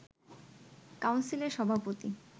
কাউন্সিলের সভাপতি